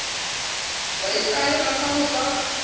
wa ikahela ka ho sa